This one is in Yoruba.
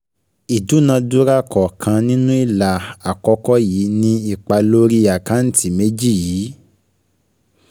Ìdúnàdúràá kọ̀ọ̀kan nínú ilà àkọ́kọ́ yìí ni ipa lórí àkáǹtì méjì yìí.